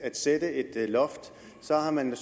at sætte et loft så har man nu